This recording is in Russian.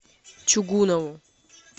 чугунову